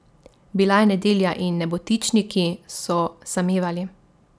Bila je nedelja in nebotičniki so samevali.